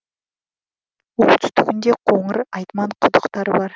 оңтүстігінде қоңыр айтман құдықтары бар